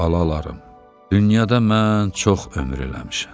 Balalarım, dünyada mən çox ömür eləmişəm.